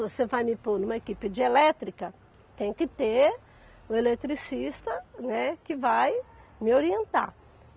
Você vai me pôr numa equipe de elétrica, tem que ter o eletricista, né, que vai me orientar.